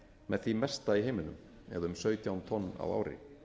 með því mesta í heiminum eða um sautján tonn á ári